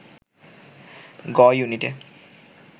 গ-ইউনিটে